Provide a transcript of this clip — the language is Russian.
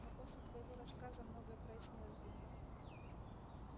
но после твоего рассказа многое прояснилось для меня